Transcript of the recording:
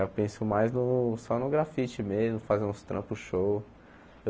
Eu penso mais só no grafite mesmo, fazer uns trampos show.